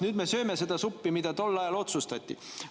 Nüüd me sööme seda suppi, mis tol ajal otsustati.